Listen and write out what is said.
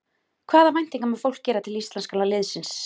Hvaða væntingar má fólk gera til íslenska liðsins?